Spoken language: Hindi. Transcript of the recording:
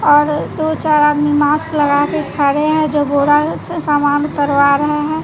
और दो चार आदमी मास्क लगा के खड़े हैं जो घोड़ा से सामान उतरवा रहें हैं।